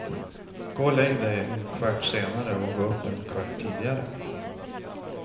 Gå och lägg dig en kvart senare och gå upp en kvart tidigare.